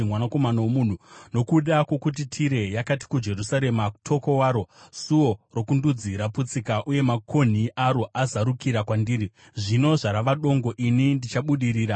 “Mwanakomana womunhu, nokuda kwokuti Tire yakati kuJerusarema, ‘Toko waro! Suo rokundudzi raputsika, uye makonhi aro azarukira kwandiri; zvino zvarava dongo ini ndichabudirira,’